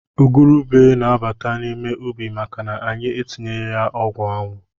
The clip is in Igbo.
Igurube na-abata n’ime ubi maka anyị entinyeghi ọgwụanwụ